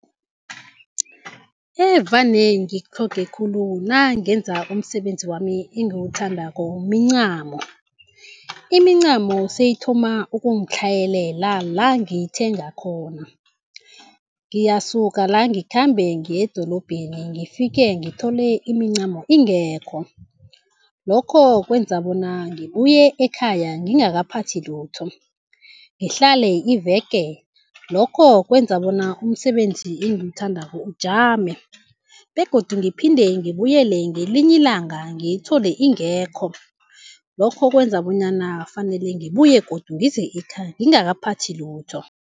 Evane ngikutlhoge khulu nangenza umsebenzi wami engiwuthandako mincamo, imincamo seyithoma ukungitlhayela la ngiyithenga khona. Ngiyasuka la ngikhambe ngiyedorobheni ngifike ngithole imincamo ingekho, lokho kwenza bona ngibuye ekhaya ngingakaphathi lutho, ngihlale iveke. Lokho kwenza bona umsebenzi engiwuthandako ujame begodu ngiphinde ngibuyele ngelinye ilanga ngiyithole ingekho. Lokho kwenza bonyana fanele ngibuye godu ngize ekhaya ngingakaphathi lutho.